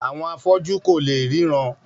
Àwọn afọ́jú kò léè ríran